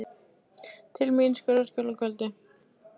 Til mín í Sörlaskjól að kvöldi.